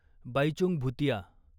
Baichung Bhutia